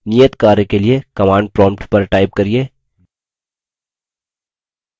नियत कार्य के लिए command prompt पर type करिये